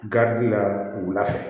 la wulafɛ